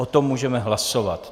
O tom můžeme hlasovat.